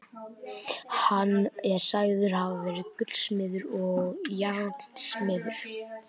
Hann er sagður hafa verið gullsmiður og járnsmiður.